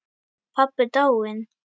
Pabbi dáinn.